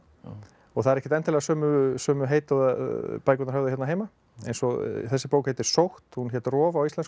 og það eru ekkert endilega sömu sömu heiti og bækurnar höfðu hérna heima eins og þessi bók heitir sótt hún hét rof á íslensku